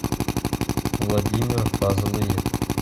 владимир фазлыев